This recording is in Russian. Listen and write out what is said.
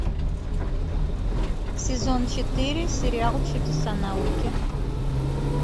сезон четыре сериал чудеса науки